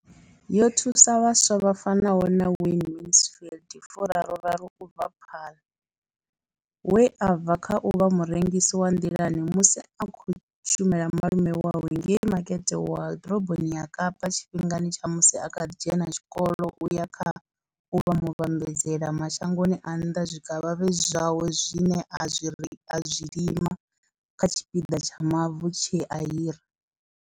Yo thusa vhaswa vha fanaho na Wayne Mansfield fu raru raru u bva Paarl, we a bva kha u vha murengisi wa nḓilani musi a tshi khou shumela malume awe ngei makete wa ḓoroboni ya Kapa tshifhingani tsha musi a kha ḓi dzhena tshikolo u ya kha u vha muvhambadzela mashangoni a nnḓa zwikavhavhe zwawe zwine a zwi lima kha tshipiḓa tsha mavu tshe a hira.